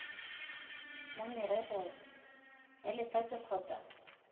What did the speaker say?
la merero ya lefatshe kgotsa